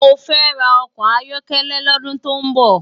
Mó fè rá òkò áyòkélé lòdún tó n bò